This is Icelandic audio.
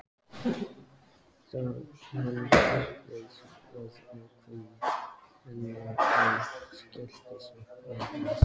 Hann dáðist að ákveðni hennar en skellti samt á hana.